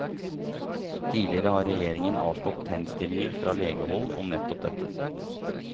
Tidligere har regjeringen avslått henstillinger fra legehold om nettopp dette.